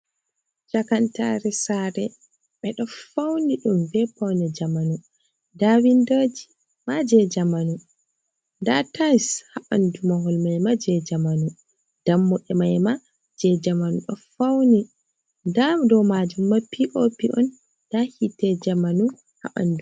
chakantaare saare ɓe ɗo fauni ɗum bee paune jamanu nda windooji maa jei jamanu, nda tais haa ɓanndu mahol maima jei jamanu, dammuɗe maima jei jamanu ɗo fauni, ndaa dow maajum maima pop on, ndaa hite jamanu haa ɓanndu mai.